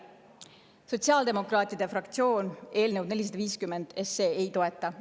Sotsiaaldemokraatide fraktsioon eelnõu 450 ei toeta.